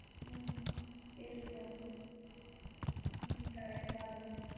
வெலகிப்போரிங்கண்ணாஅந்த இடத்துக்கு தூக்கிட்டு போக முடியாது book yes mam